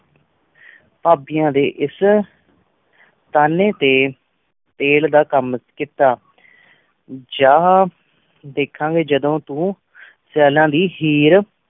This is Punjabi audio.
ਪਾਬ੍ਦੇਆਂ ਡੀ ਇਸ ਤਾਂਯਨ ਟੀ ਤਿਲ ਦਾ ਕਾਮ ਕੀਤਾ ਜਹਾ ਧ੍ਖਾਂ ਗੀ ਜਿਦੁਨ ਤੂੰ ਸਾਲਾਂ ਦੀ ਹੇਰ